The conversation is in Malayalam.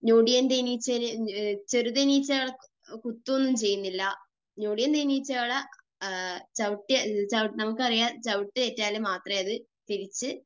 ഞൊടിയൻ തേനീച്ചകൾ, ചെറുതേനീച്ചകൾ കുത്തുകയൊന്നും ചെയ്യില്ല. ഞൊടിയൻ തേനീച്ചകൾ ചവിട്ട് നമുക്കറിയാം, ചവിട്ടേറ്റാൽ മാത്രമേ അത് തിരിച്ച്